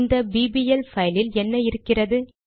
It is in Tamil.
இந்த பிபிஎல் பைலில் என்ன இருக்கிறது